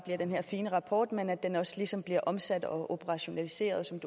ved den her fine rapport men at den også ligesom bliver omsat og operationaliseret som